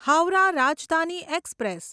Howrah Rajdhani express